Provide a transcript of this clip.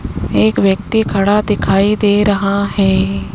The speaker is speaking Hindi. एक व्यक्ति खड़ा दिखाई दे रहा है।